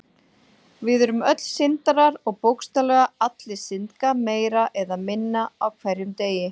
Við erum öll syndarar og bókstaflega allir syndga meira eða minna á hverjum degi.